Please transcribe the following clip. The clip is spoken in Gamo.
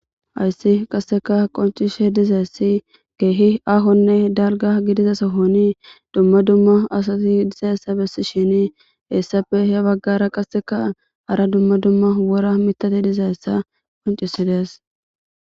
ayssi qasseka qoncishe dizayessi geehi ahonne dalga gidiza sohoni dumma dumma asati dizeyssa bessi shini heessappe he baggara qasseka hara dumma dumma wora mitati dizayssa qoncisidees